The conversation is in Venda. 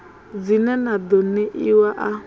dzine na ḓo ṋeiwa a